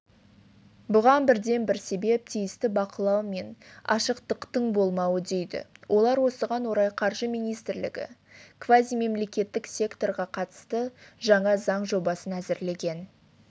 бұған бірден-бір себеп тиісті бақылау мен ашықтықтың болмауы дейді олар осыған орай қаржы министрлігі квазимемлекеттік секторға қатысты жаңа заң жобасын әзірлеген